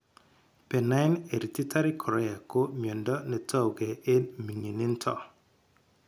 Benign hereditary chorea ko miondo netouge eng ming'inindo